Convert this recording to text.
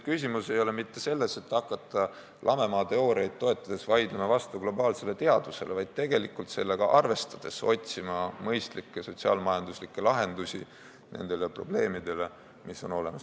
Küsimus ei ole mitte selles, et hakata lamemaateooriaid toetades vaidlema vastu globaalsele teadusele, vaid tegelikult tuleb sellega arvestades otsida mõistlikke sotsiaal-majanduslikke lahendusi nendele probleemidele, mis on olemas.